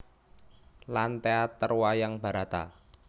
Lan teater Wayang Barata